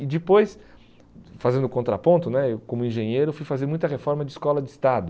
E depois, fazendo contraponto né, eu como engenheiro fui fazer muita reforma de escola de estado,